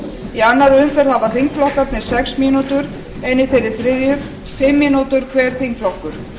í annarri umferð hafa þingflokkarnir sex mínútur en í þeirri þriðju fimm mínútur hver þingflokkur